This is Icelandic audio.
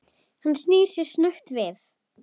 Hann snýr sér snöggt við.